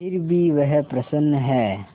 फिर भी वह प्रसन्न है